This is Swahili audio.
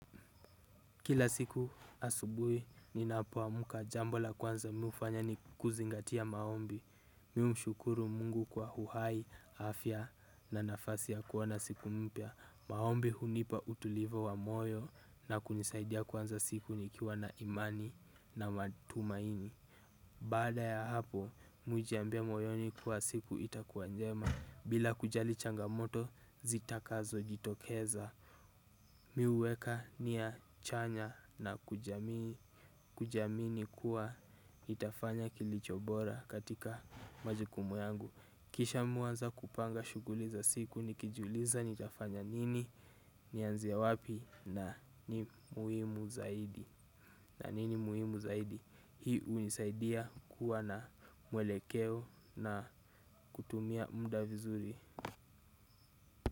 Kila siku asubui ninapowamuka jambo la kwanza mi ufanya ni kuzingatia maombi. Mi umshukuru mungu kwa huhai, afya na nafasi ya kuwona siku mpya. Maombi hunipa utulivu wa moyo na kunisaidia kwanza siku nikiwa na imani na matumaini. Bada ya hapo, mujiambia moyoni kuwa siku itakuwa njema. Bila kujali changamoto, zitakazo jitokeza mi huweka niya chanya na kujamini kuwa nitafanya kilicho bora katika majukumu yangu kisha muanza kupanga shuguli za siku nikijuliza nitafanya nini, nianzie wapi na ni muhimu zaidi na nini muhimu zaidi, hii unisaidia kuwa na mwelekeo na kutumia mda vizuri.